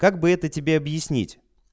как бы это тебе объяснить